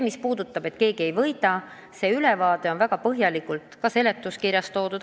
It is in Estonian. Mis puudutab seda, et keegi ei võida – see ülevaade on väga põhjalikult ka seletuskirjas toodud.